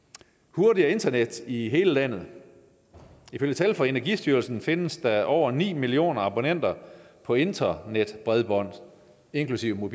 hurtigere internet i hele landet ifølge tal fra energistyrelsen findes der over ni millioner abonnenter på internetbredbånd inklusive